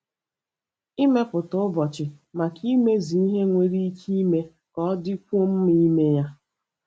Ịmepụta ụbọchị maka imezu ihe nwere ike ime ka ọ dịkwuo mma ime ya.